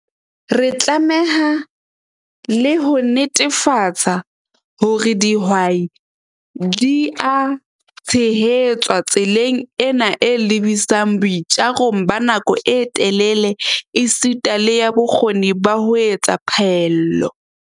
Re tlameha le ho netefatsa hore dihwai di a tshehetswa tseleng ena e lebisang boitjarong ba nako e telele esita le ya bokgoni ba ho etsa phaello.